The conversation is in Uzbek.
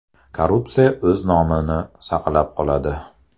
Korporatsiya o‘z nomini saqlab qoladi.